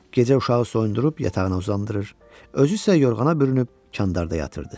Gecə uşağı soyundırıb yatağına uzandırır, özü isə yorğana bürünüb candarda yatırdı.